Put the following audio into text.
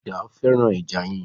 Farida fẹ́ràn ẹja yíyan